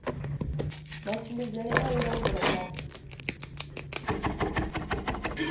matshimbidzele a u langula na